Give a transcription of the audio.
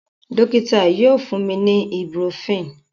Dokita yoo fun mi ni ibuprofen.